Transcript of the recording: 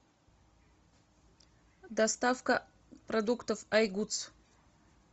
доставка продуктов айгудс